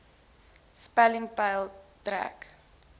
stelling peil trek